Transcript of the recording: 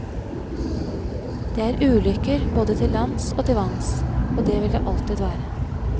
Det er ulykker både til lands og til vanns, og det vil det alltid være.